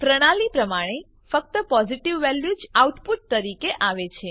પ્રણાલી પ્રમાણે ફક્ત પોઝીટીવ વેલ્યુ જ આઉટપુટ તરીકે આવે છે